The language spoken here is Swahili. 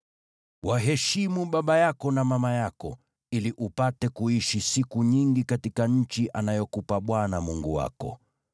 Waheshimu baba yako na mama yako, ili upate kuishi siku nyingi katika nchi anayokupa Bwana Mungu wako.